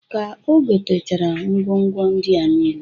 Ka o gotechara ngwo ngwo ndia nile.